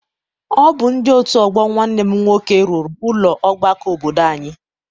Ọ bụ ndị otu ọgbọ Nwanne m nwoke rụrụ ụlọ ọgbakọ obodo anyị.